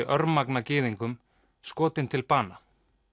örmagna gyðingum skotinn til bana